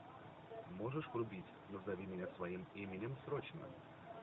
можешь врубить назови меня своим именем срочно